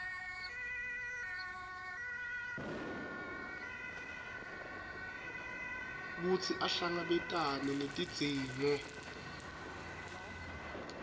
kutsi ahlangabetane netidzingo